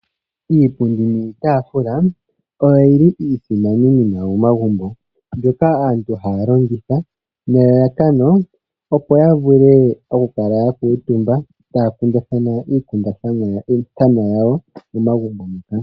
Iipundi niitaafula oyo yili iisimaninima momagumbo mbyoka aantu haya longitha nelalakano opo ya vule okukala ya kuutumba, taya kundathana iikundathanwa yawo momagumbo moka.